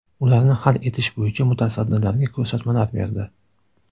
Ularni hal etish bo‘yicha mutasaddilarga ko‘rsatmalar berdi.